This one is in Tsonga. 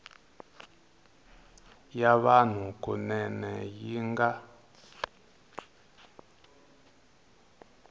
ya vanhu kunene yi nga